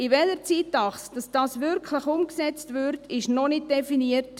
In welchem Zeitrahmen das wirklich umgesetzt wird, ist noch nicht definiert.